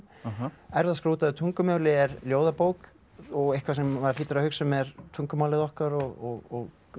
erfðaskrá á útdauðu tungumáli er ljóðabók og eitthvað sem maður hlýtur að hugsa um er tungumálið okkar og